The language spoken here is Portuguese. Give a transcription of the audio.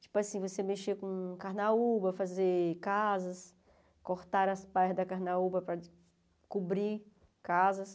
Tipo assim, você mexer com carnaúba, fazer casas, cortar as partes da carnaúba para cobrir casas.